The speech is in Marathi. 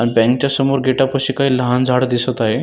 अण बँकच्या समोर गेटापाशी काही लहान झाड दिसत आहे.